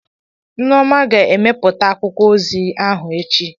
Nneoma ga-emepụta akwụkwọ ozi ahụ echi.